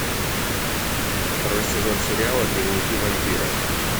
второй сезон сериала дневники вампира